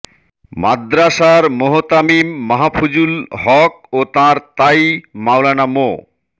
মাদ্রাসার মোহতামিম মাহফুজুল হক ও তাঁর তাই মাওলানা মো